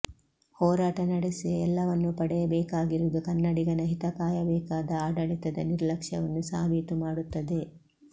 ಹೋರಾಟ ನಡೆಸಿಯೇ ಎಲ್ಲವನ್ನೂ ಪಡೆಯಬೇಕಾಗಿರುವುದು ಕನ್ನಡಿಗನ ಹಿತಕಾಯಬೇಕಾದ ಆಡಳಿತದ ನಿರ್ಲಕ್ಷ್ಯವನ್ನು ಸಾಬೀತು ಮಾಡುತ್ತದೆ